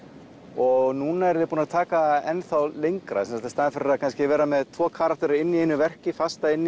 og núna er ég búinn að taka enn þá lengra í staðinn fyrir að vera með tvo karaktera inni í einu verki fasta inni